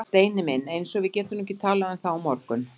Steini minn. eins og við getum nú ekki talað um það á morgun!